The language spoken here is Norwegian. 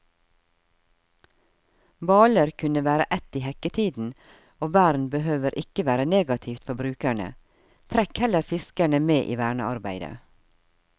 Hvaler kunne være ett i hekketiden, og vern behøver ikke være negativt for brukerne, trekk heller fiskerne med i vernearbeidet.